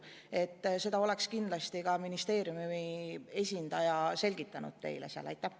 Seda oleks kindlasti ministeeriumi esindaja teile selgitanud.